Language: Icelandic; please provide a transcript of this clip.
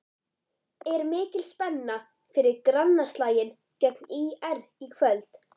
Er mikil spenna fyrir grannaslaginn gegn ÍR í kvöld?